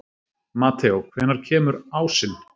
Mateó, hvenær kemur ásinn?